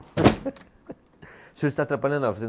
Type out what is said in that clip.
O senhor está atrapalhando a aula.